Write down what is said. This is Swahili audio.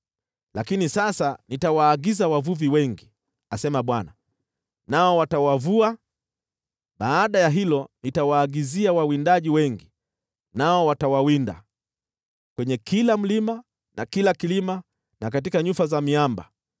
“Lakini sasa nitawaagiza wavuvi wengi,” asema Bwana , “nao watawavua. Baada ya hilo, nitawaagizia wawindaji wengi, nao watawawinda kwenye kila mlima na kilima, na katika nyufa za miamba.